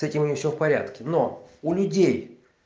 с этим у меня всё в порядке но у людей